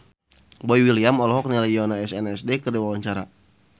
Boy William olohok ningali Yoona SNSD keur diwawancara